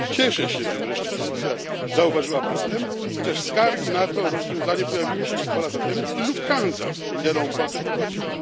Cieszę się, że wreszcie Komisja zauważyła problem, chociaż skargi na to rozwiązanie pojawiły się już dwa lata temu, gdy Lufthansa wspomnianą opłatę wprowadziła.